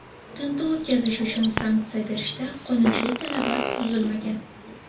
Tintuv o‘tkazish uchun sanksiya berishda qonunchilik talabi buzilmagan.